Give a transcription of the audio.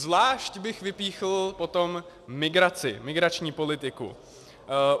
Zvlášť bych vypíchl potom migraci, migrační politiku.